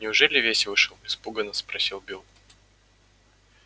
неужели весь вышел испуганно спросил билл